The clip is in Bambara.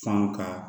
Fɛnw ka